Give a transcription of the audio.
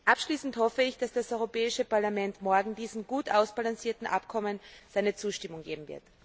Abschließend hoffe ich, dass das Europäische Parlament morgen diesem gut ausbalancierten Abkommen seine Zustimmung geben